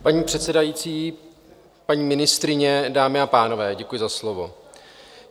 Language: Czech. Paní předsedající, paní ministryně, dámy a pánové, děkuji za slovo.